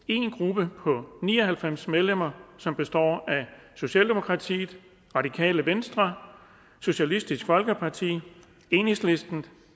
en gruppe på ni og halvfems medlemmer socialdemokratiet radikale venstre socialistisk folkeparti enhedslisten